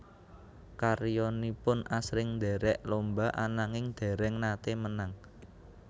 Karyanipun asring ndherek lomba ananging dereng nate menang